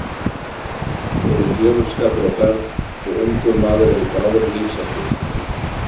Hér er djöfulskapur á ferð og ungur maður er í bráðri lífshættu.